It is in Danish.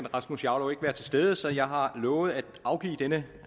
rasmus jarlov ikke være til stede så jeg har lovet at afgive denne